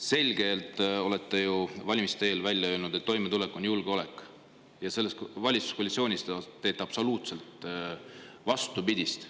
Te ütlesite ju valimiste eel selgelt välja, et toimetulek on julgeolek, aga selles valitsuskoalitsioonis te teete absoluutselt vastupidist.